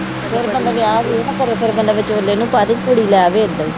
ਫਿਰ ਬੰਦਾ ਵਿਆਹ ਵਿਉਹ ਨਾ ਕਰੇ ਫਿਰ ਬੰਦਾ ਵਿਚੋਲੇ ਨੂੰ ਪਾ ਦੇ ਤੇ ਕੁੜੀ ਲੈ ਆਵੇ ਇਹਦਾ ਈ।